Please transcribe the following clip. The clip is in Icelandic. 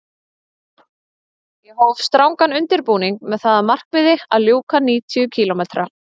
Ég hóf strangan undirbúning með það að markmiði að ljúka níutíu kílómetra